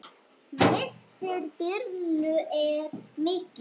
Missir Birnu er mikill.